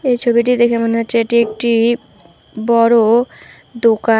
এই ছবিটি দেখে মনে হচ্ছে এটি একটি বড় দোকান।